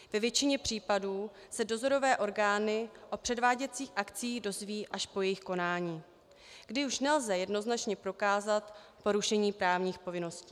Ve většině případů se dozorové orgány o předváděcích akcích dozvědí až po jejich konání, kdy už nelze jednoznačně prokázat porušení právních povinností.